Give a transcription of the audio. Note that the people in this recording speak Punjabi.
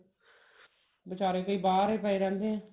ਬਿਚਾਰੇ ਕਈ ਬਾਹਰ ਹੀ ਪਏ ਰਹਿੰਦੇ ਐ